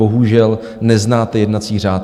Bohužel, neznáte jednací řád.